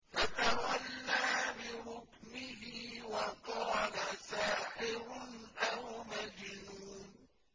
فَتَوَلَّىٰ بِرُكْنِهِ وَقَالَ سَاحِرٌ أَوْ مَجْنُونٌ